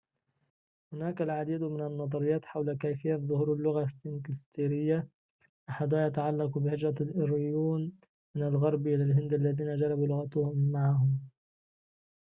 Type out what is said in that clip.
هناك العديد من النظريات حول كيفية ظهور اللغة السنسكريتية أحدها يتعلق بهجرة الآرييون من الغرب إلى الهند الذين جلبوا لغتهم معهم